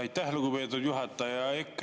Aitäh, lugupeetud juhataja!